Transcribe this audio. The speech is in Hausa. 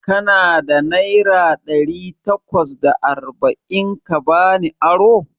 Kana da naira ɗari takwas da arba'in ka bani aro?